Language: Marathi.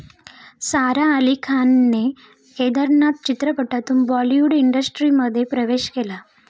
सारा अली खानने 'केदारनाथ' चित्रपटातून बॉलिवूड इंडस्ट्रीमध्ये प्रवेश केला.